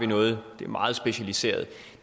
noget der er meget specialiseret